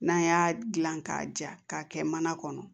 N'an y'a dilan k'a ja k'a kɛ mana kɔnɔ